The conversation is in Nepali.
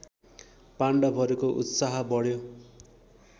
पाण्डवहरूको उत्साह बढ्यो